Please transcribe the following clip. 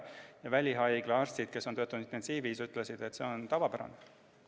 Välihaigla arstid, kes on töötanud intensiivis, ütlesid, et see on tavapärane.